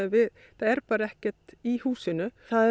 það er bara ekkert í húsinu það